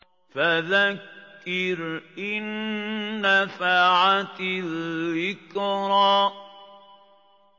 فَذَكِّرْ إِن نَّفَعَتِ الذِّكْرَىٰ